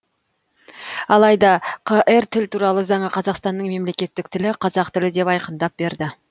алайда қр тіл туралы заңы қазақстанның мемлекеттік тілі қазақ тілі деп айқындап берді